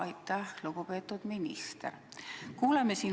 Aitäh, lugupeetud minister!